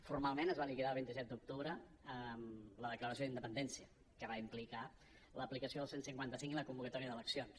formalment es va liquidar el vint set d’octubre amb la declaració d’independència que va implicar l’aplicació del cent i cinquanta cinc i la convocatòria d’eleccions